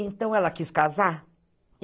Então, ela quis casar.